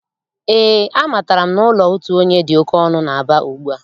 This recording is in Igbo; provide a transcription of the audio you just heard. Ee, amatara m na ụlọ otu onye dị oké ọnụ n'Aba ugbua.